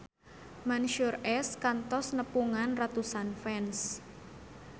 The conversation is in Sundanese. Mansyur S kantos nepungan ratusan fans